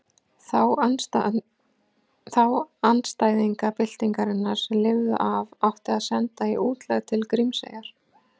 Þá andstæðinga byltingarinnar sem lifðu af átti að senda í útlegð til Grímseyjar.